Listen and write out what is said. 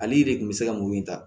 Ale de kun bɛ se ka mun in ta